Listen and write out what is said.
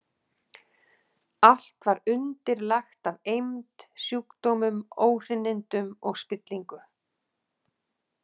Allt var undirlagt af eymd, sjúkdómum, óhreinindum og spillingu.